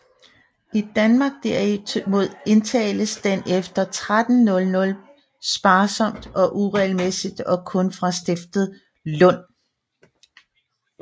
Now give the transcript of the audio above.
I Danmark derimod indbetaltes den efter 1300 sparsomt og uregelmæssigt og kun fra stiftet Lund